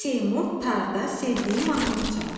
Seymur tarda sevdiyi mahnını çaldı.